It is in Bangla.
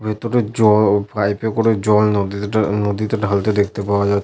ভেতরে জ পাইপ -এ করে জল নদীতে ঢা নদীতে ঢালতে দেখতে পাওয়া যাচ --